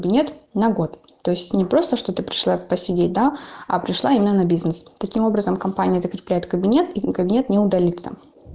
нет на год то есть не просто что ты пришла посидеть да а пришла именно бизнес таким образом компания закрепляет кабинет и кабинет не удалится